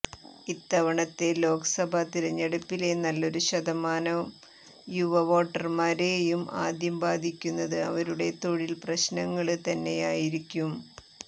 ഇത്തവണത്തെ ലോക്സഭാ തിരഞ്ഞെടുപ്പിലെ നല്ലൊരു ശതമാനം യുവ വോട്ടര്മാരെയും ആദ്യം ബാധിക്കുന്നത് അവരുടെ തൊഴില് പ്രശ്നങ്ങള് തന്നെയായിരിക്കും